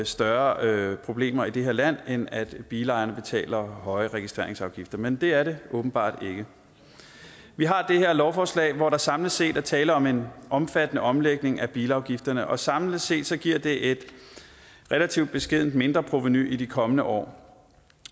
større problemer i det her land end at bilejerne betaler høje registreringsafgifter men det er der åbenbart ikke vi har det her lovforslag hvor der samlet set er tale om en omfattende omlægning af bilafgifterne samlet set giver det et relativt beskedent mindreprovenu i de kommende år